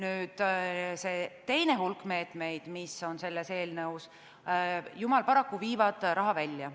Paraku teine hulk meetmeid, mis on selles eelnõus, viib raha välja.